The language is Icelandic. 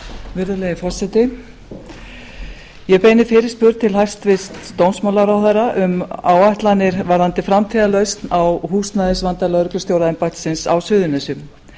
virðulegi forseti ég beini fyrirspurn til hæstvirts dómsmálaráðherra um áætlanir varðandi framtíðarlausn á húsnæðisvanda lögreglustjóraembættisins á suðurnesjum